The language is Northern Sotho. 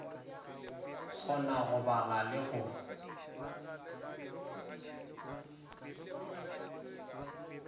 kgona go bala le go